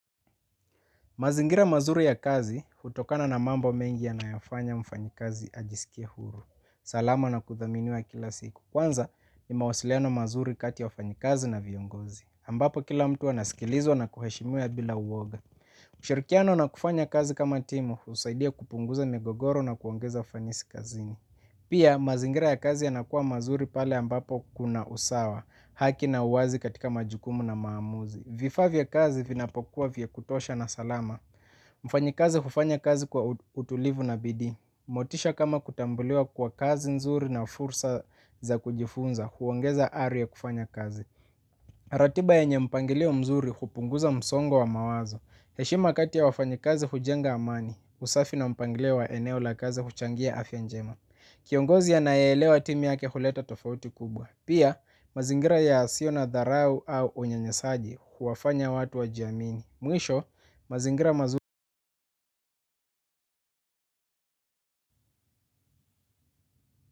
Mazingira mazuri ya kazi, hutokana na mambo mengi yanayofanya mfanyikazi ajisikie huru. Salama na kuthaminiwa kila siku. Kwanza, ni mawasiliano mazuri kati ya wafanyikazi na viongozi. Ambapo kila mtu anasikilizwa na kuheshimiwa bila uoga. Ushirikiano na kufanya kazi kama timu, husaidia kupunguza migogoro na kuongeza ufanisi kazini. Pia, mazingira ya kazi yanakuwa mazuri pale ambapo kuna usawa, haki na uwazi katika majukumu na maamuzi. Vifaa vya kazi vinapokuwa vya kutosha na salama. Mfanyikazi hufanya kazi kwa utulivu na bidii. Motisha kama kutambuliwa kwa kazi nzuri na fursa za kujifunza. Huongeza ari ya kufanya kazi. Ratiba yenye mpangeleo mzuri hupunguza msongo wa mawazo. Heshima kati ya wafanyikazi hujenga amani. Usafi na mpangileo wa eneo la kazi huchangia afya njema. Kiongozi anayeelewa timu yake huleta tofauti kubwa. Pia, mazingira yasio na dharau au unyanyasaji huwafanya watu wajiamini. Mwisho, mazingira mazula.